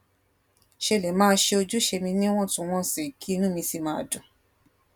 ṣe lè máa ṣe ojúṣe mi níwòntúnwònsì kí inú mi sì máa dùn